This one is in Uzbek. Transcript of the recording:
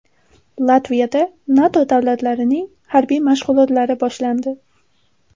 Latviyada NATO davlatlarining harbiy mashg‘ulotlari boshlandi.